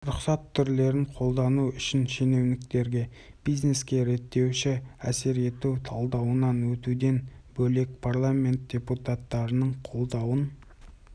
рұқсат түрлерін қолдану үшін шенеуніктерге бизнеске реттеуші әсер ету талдауынан өтуден бөлек парламент депутаттарының қолдауын